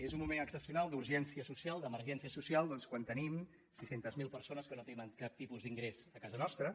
és un moment excepcional d’urgència social d’emergència social quan tenim sis cents miler persones que no tenen cap tipus d’ingrés a casa nostra